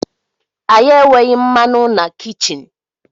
Anyị enweghị mmanụ na kichin